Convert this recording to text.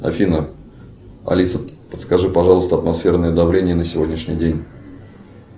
афина алиса подскажи пожалуйста атмосферное давление на сегодняшний день